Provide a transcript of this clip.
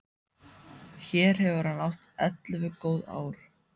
Hér hefur hann átt ellefu góð ár.